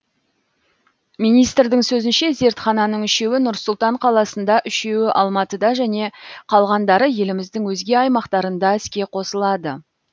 министрдің сөзінше зертхананың үшеуі нұр сұлтан қаласында үшеуі алматыда және қалғандары еліміздің өзге аймақтарында іске қосылады